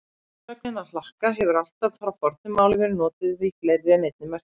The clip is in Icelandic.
Sögnin að hlakka hefur allt frá fornu máli verið notuð í fleiri en einni merkingu.